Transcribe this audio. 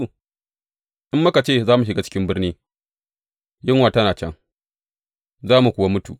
In muka ce, Za mu shiga cikin birni’ yunwa tana can, za mu kuwa mutu.